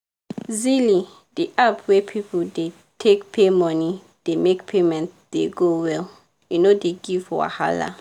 zelie di app wey people dey take pay money dey make payment dey go well e no dey give wahala.